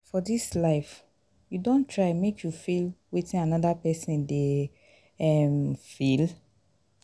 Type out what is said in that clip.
for dis life you don try make you feel wetin anoda pesin dey um feel?